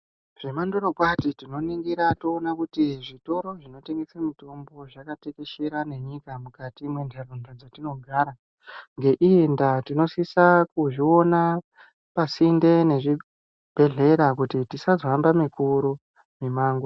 Zvemandoro kwati tinoningira toona kuti zvitoro zvinotengeswa mitombo zvakatekeshera ngenyika mukati mendaraunda dzatinogara ngeiyi ndaa tinosisa kuzviona pasinde nezvibhedhlera kuti tisazohamba mikuru mimango.